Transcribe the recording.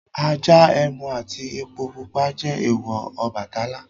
Ajá, ẹmu àti epo pupa jẹ́ èèwọ̀ Ọbàtálá.